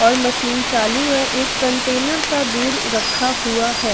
और मशीन चालू है एक कंटेनर सा दूर रखा हुआ है।